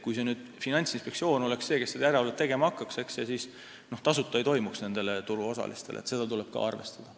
Kui Finantsinspektsioon oleks see, kes hakkaks järelevalvet tegema, siis see ei oleks turuosalistele tasuta, sellega tuleb ka arvestada.